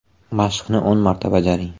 Mashqni o‘n marta bajaring.